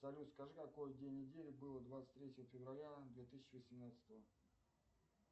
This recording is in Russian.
салют скажи какой день недели было двадцать третье февраля две тысячи восенадцатого